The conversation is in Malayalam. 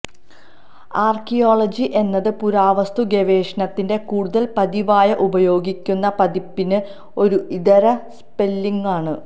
ആർക്കിയോളജി എന്നത് പുരാവസ്തുഗവേഷണത്തിന്റെ കൂടുതൽ പതിവായി ഉപയോഗിക്കുന്ന പതിപ്പിന് ഒരു ഇതര സ്പെല്ലിംഗാണ്